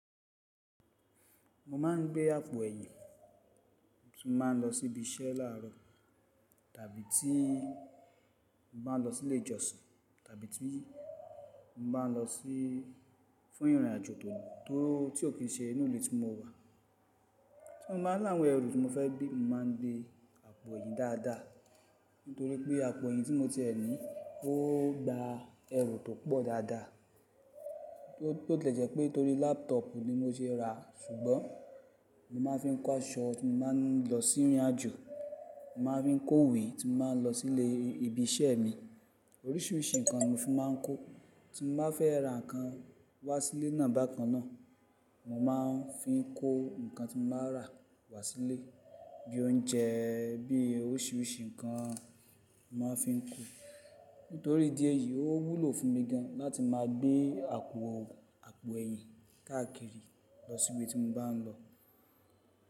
Mo máa ń gbé àpò ẹ̀yìn, tí mo bá ń lọ sí ibi iṣẹ́ làárọ̀, tàbí tí mo bá ń lọ sí ilé ìjọsìn, tàbí tí mo bá ń lọ sí fún ìrìnàjò tó, tó, tí ò kí ṣe inù ìlú tí mo wá. Tí mo bá láwon ẹrù tí mo fẹ́ gbé, mo máa ń gbé àpò ẹ̀yìn dáadáa. Nítorí pé àpò ẹ̀yìn tí mo tiè ní, ó gba ẹrù tó pọ̀ dáadáa. Bó tilè jẹ̀ wípé torí laptop ni mo se ràá, ṣùgbọ́n mo máa ń fi kó aṣọ tí mo bá ń lọ sí ìrìnàjò. Mo máa ń fi kó ìwé tí mo bá ń lọ sí ilé ibi iṣẹ́ mi. Oríṣiríṣi nǹkan ni mo fi máa ń kó Tí mo bá fẹ́ ra nǹkan wá sí ilé náà bákan náà, mo máa ń fi ń kó nǹkan tí mo bá rà wá sí ilé. Bíi oúnjẹ, bíi oríṣiríṣi nǹkan, mo máa ń fi ń kó. Nítorí ìdí ẹ̀yí ó wúlò fún mi gan láti máa gbé àpò, àpò ẹ̀yìn káàkiri lọ sí ibi tí mo bá ń lọ.